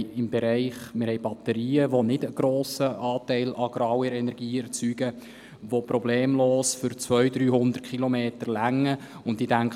Es gibt Batterien, die keinen grossen Anteil an grauer Energie erzeugen und problemlos für 200 bis 300 Kilometer ausreichen.